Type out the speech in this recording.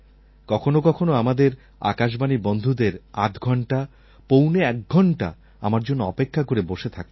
কখনও কখনও আমাদের আকাশবাণীর বন্ধুদের আধঘণ্টা পৌনে এক ঘণ্টা আমার জন্য অপেক্ষা করে বসে থাকতে হয়